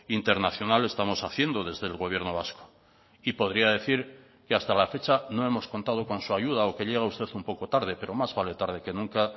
internacional estamos haciendo desde el gobierno vasco y podría decir que hasta la fecha no hemos contado con su ayuda o que llega usted un poco tarde pero más vale tarde que nunca